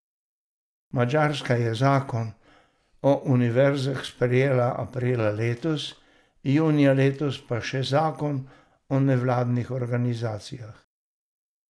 Madžarska je zakon o univerzah sprejela aprila letos, junija letos pa še zakon o nevladnih organizacijah.